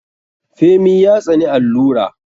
Femi ya tsani allura.